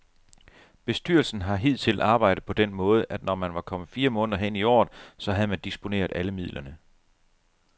Bestyrelsen har hidtil arbejdet på den måde, at når man var kommet fire måneder hen i året, så havde man disponeret alle midlerne.